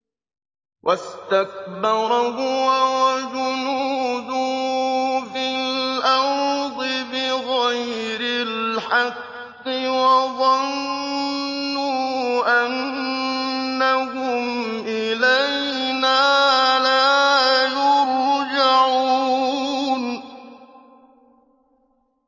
وَاسْتَكْبَرَ هُوَ وَجُنُودُهُ فِي الْأَرْضِ بِغَيْرِ الْحَقِّ وَظَنُّوا أَنَّهُمْ إِلَيْنَا لَا يُرْجَعُونَ